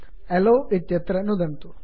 yellow अलो इत्यत्र नुदन्तु